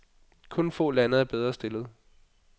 Kun få lande er bedre stillet.